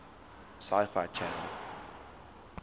sci fi channel